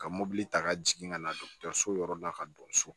Ka mɔbili ta ka jigin ka na dɔgɔtɔrɔso yɔrɔ la ka don so